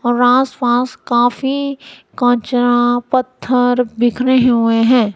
और आस पास काफी कुछ पत्थर बिखरे हुए हैं।